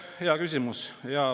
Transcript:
Hea küsimus.